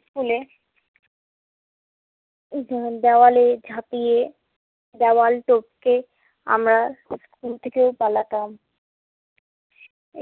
স্কুলে দেওয়ালে ঝাঁপিয়ে দেওয়াল টপকে আমরা স্কুল থেকে পালাতাম।